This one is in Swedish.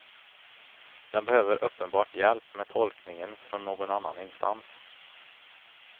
Den behöver uppenbart hjälp med tolkningen från någon annan instans.